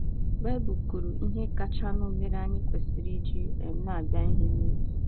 Baịbụl kwuru ihe kachanụ mere anyị kwesịrị iji um na - abịa ihe n’oge.